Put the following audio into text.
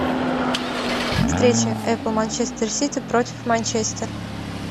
встреча апл манчестер сити против манчестер